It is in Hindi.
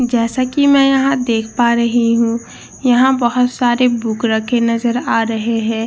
जैसा की मैं एह देख पा रही हु एह बोहोत सारे बुक रखे नजर आ रहे है।